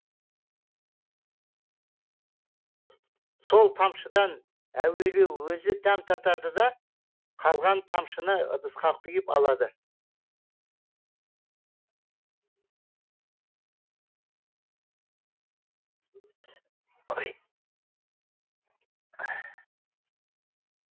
сол тамшыдан әуелі өзі дәм татады да қалған тамшыны ыдысқа құйып алады